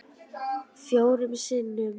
Fjórum sinnum